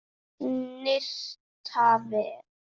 Snyrta vel.